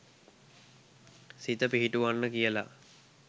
සිත පිහිටුවන්න කියලා